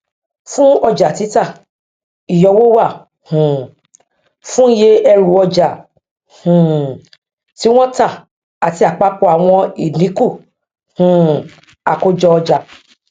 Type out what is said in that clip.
fun ọjà títà ìyọwó wà um fún iye ẹrùọjà um tí wọn tà àti àpapọ àwọn ìdínkù um àkójọọjà